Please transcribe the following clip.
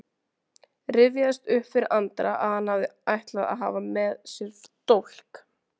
Rifjaðist upp fyrir Andra að hann hafði ætlað að hafa með sér dólk.